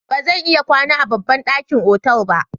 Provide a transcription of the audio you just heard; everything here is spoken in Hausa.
Ba zan iya kwana a babban ɗakin otal ba.